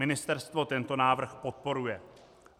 Ministerstvo tento návrh podporuje.